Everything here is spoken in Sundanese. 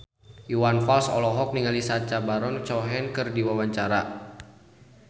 Iwan Fals olohok ningali Sacha Baron Cohen keur diwawancara